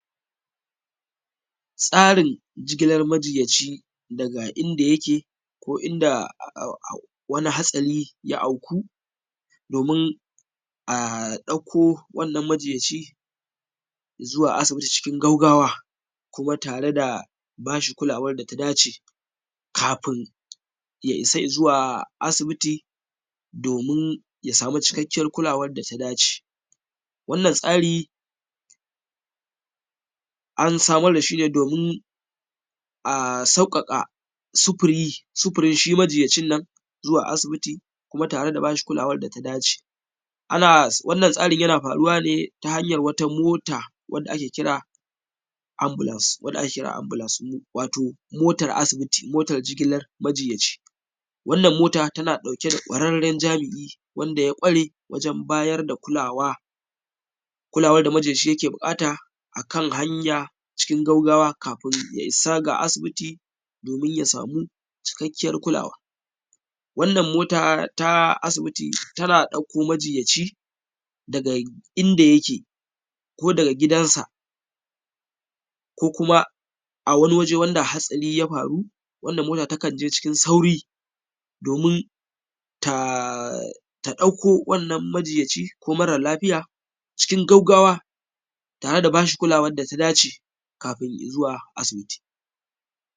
tsarin jigilar majiyaci daga inda yake ko inda wani hatsari ya auku domin a ɗauko wannan majiyaci zuwa asibiti cikin gaugawa kuma tare da bashi kulawar da ta dace kafin ya isa zuwa asibiti domin ya samu cikakkiyar kulawar da ta dace wannan tsari an samar da shi ne domin a sauƙaƙa sufurin shi majiyacin nan zuwa asibiti kuma tare da bashi kulawar da dace ana wannan tsarin yana faruwa ne ta hanyar wata mota wanda ake kira Ambulance wato motar asibiti motar jigilar majiyaci wannan mota tana ɗauke da ƙwararren jami’i wanda ya ƙware wajen bayar da kulawa kulawar da majiyaci yake buƙata akan hanya cikin gaugawa kafin ya isa ga asibiti domin ya samu cikakkiyar kulawa wannan mota ta asibiti tana ɗauko majiyaci daga inda yake ko daga gidan sa ko kuma a wani waje wanda hatsari ya faru wanda mota takan je cikin sauri domin ta ɗauko wannan majiyaci ko mara lafiya cikin gaugawa tare da bashi kulawar da ta dace kafin zuwa asibiti